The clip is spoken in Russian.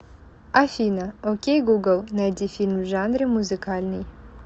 афина окей гугл найди фильм в жанре музыкальный